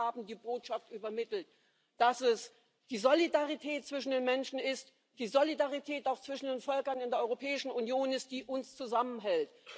Sie haben die Botschaft übermittelt, dass es die Solidarität zwischen den Menschen, die Solidarität auch zwischen den Völkern in der Europäischen Union ist, die uns zusammenhält.